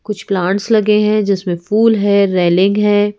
कुछ प्लांट्स लगे है जिसमें फूल है रेलिंग है।